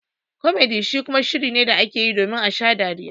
"Comedy" shi kuma shiri ne da ake yi domin a sha dariya.